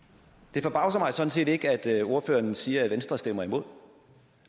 det forbavser mig sådan set ikke at ordføreren siger at venstre stemmer imod